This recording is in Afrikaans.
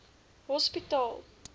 hospitaal